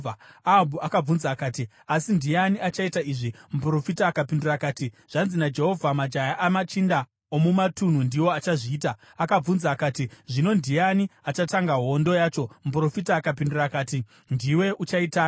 Ahabhu akabvunza akati, “Asi ndiani achaita izvi?” Muprofita akapindura akati, “Zvanzi naJehovha: ‘Majaya amachinda omumatunhu ndiwo achazviita.’ ” Akabvunza akati, “Zvino ndiani achatanga hondo yacho?” Muprofita akapindura akati, “Ndiwe uchaitanga.”